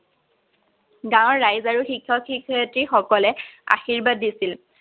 গাঁৱৰ ৰাইজ আৰু শিক্ষক-শিক্ষয়িত্ৰীসকলে আশীৰ্বাদ দিছিল।